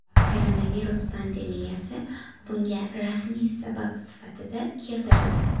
Koronavirus pandemiyasi bunga rasmiy sabab sifatida keltirildi.